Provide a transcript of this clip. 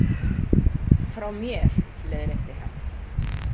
Frá mér, leiðrétti hann.